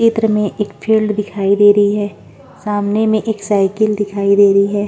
चित्र में एक फील्ड दिखाई दे रही हैं सामने में एक साईकल दिखाई दे रही हैं ।